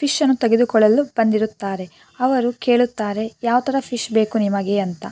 Fish ಅನ್ನು ತೆಗೆದುಕೊಳ್ಳಲು ಬಂದಿರುತ್ತಾರೆ ಅವರು ಕೇಳುತ್ತಾರೆ ಯಾವತರ ಫಿಶ್ ಬೇಕು ನಿಮಗೆ ಅಂತ.